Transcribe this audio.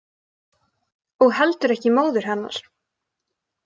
Og heldur ekki móður hennar.